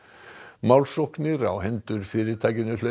málsóknir á hendur fyrirtækinu hlaupa